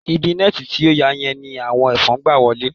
Ibi nẹ́ẹ̀ti tí ó ya yẹn ni àwọn ẹ̀fọn ń gba wọlé